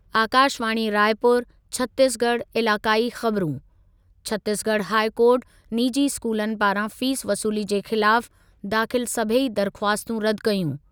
आकाशवाणी रायपुर (छत्तीसगढ़) इलाक़ाई ख़बरूं, Chhattisgarh high court निजी स्कूलनि पारां फ़ीस वसूली जे ख़िलाफ दाख़िल सभेई दरख़्वास्तूं रदि कयूं।